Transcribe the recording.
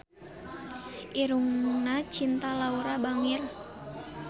Irungna Cinta Laura bangir